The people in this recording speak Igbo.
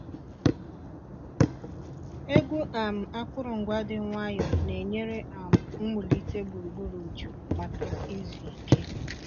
Egwu um akụrụngwa dị nwayọọ na-enyere um m wulite gburugburu jụụ maka izu ike.